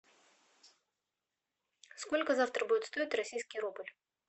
сколько завтра будет стоить российский рубль